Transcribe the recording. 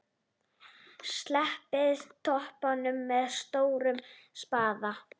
Sléttið toppinn með stórum spaða.